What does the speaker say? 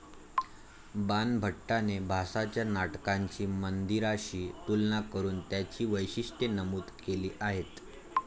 बाणभट्टाने भासाच्या नाटकांची मंदिराशी तुलना करून त्यांची वैशिष्ट्ये नमूद केली आहेत.